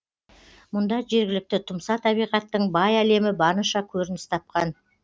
мұнда жергілікті тұмса табиғаттың бай әлемі барынша көрініс тапқан